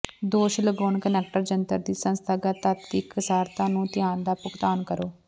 ਦੋਸ਼ ਲਗਾਉਣ ਕੁਨੈਕਟਰ ਜੰਤਰ ਦੀ ਸੰਸਥਾਗਤ ਤੱਤ ਦੀ ਇਕਸਾਰਤਾ ਨੂੰ ਧਿਆਨ ਦਾ ਭੁਗਤਾਨ ਕਰੋ